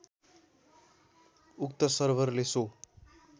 उक्त सर्भरले सो